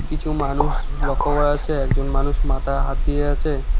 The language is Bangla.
কিছু মানুষ লক্ষ্য করা যাচ্ছে একজন মানুষ মাথায় হাত দিয়ে আছে।